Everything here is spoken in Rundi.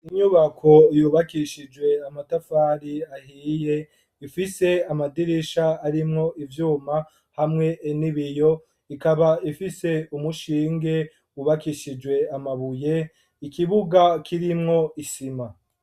Inyubako ,yubakishijwe ,amatafari ahiye, ifise amadirisha, arimwo ivyuma hamwe n'Ibiyo, ikaba ifise umushinge, wubakishijwe amabuye, ikibuga kirimwo isima.